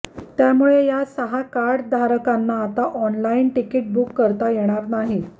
त्यामुळे या सहा कार्ड धारकांना आता ऑनलाइन तिकीट बुक करता येणार नाहीत